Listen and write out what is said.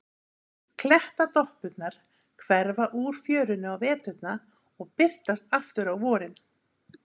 Klettadoppurnar hverfa úr fjörunni á veturna og birtast aftur á vorin.